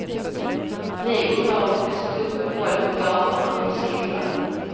Vi unga har vuxit upp med våld på gatorna och i skolan.